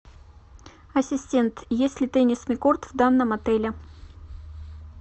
ассистент есть ли теннисный корт в данном отеле